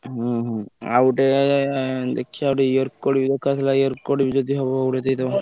ହୁଁ ହୁଁ ଆଉ ଗୋଟେ ଦେଖିଆ ଗୋଟେ ear cord ବି ଦରକାର ଥିଲା ear cord ବି ଯଦି ହବ ଗୋଟେ ଦେଇଦବ।